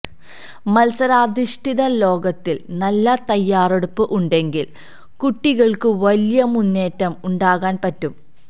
മത്സരാധിഷ്ഠിത ലോകത്തില് നല്ല തയ്യാറെടുപ്പ് ഉണ്ടെങ്കില് കുട്ടികള്ക്ക് വലിയ മുന്നേറ്റം ഉണ്ടാക്കാന് പറ്റും